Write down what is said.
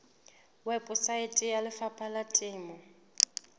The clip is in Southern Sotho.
weposaeteng ya lefapha la temo